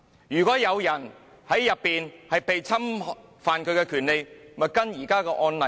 如果有人在站內被侵犯權利，便會依照現時的案例處理。